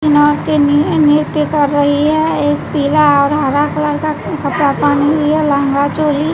लड़कीनृ नृत्य कर रही है एक पीला और हरा कलर का कपड़ा पहनी हुई है लहंगा चोली--